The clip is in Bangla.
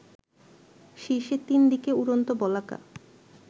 শীর্ষে ৩ দিকে উড়ন্ত বলাকা